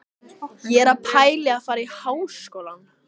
Ég er að pæla í að fara í Háskólann.